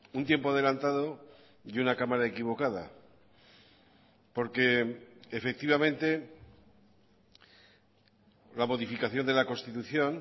un tiempo adelantado y una cámara equivocada porque efectivamente la modificación de la constitución